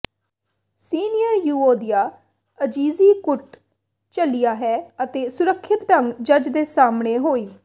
senior ਯੂਓਦੀਆ ਆਜਿਜ਼ੀ ਕੁੱਟ ਝੱਲਿਆ ਹੈ ਅਤੇ ਸੁਰੱਖਿਅਤ ਢੰਗ ਜੱਜ ਦੇ ਸਾਹਮਣੇ ਹੋਈ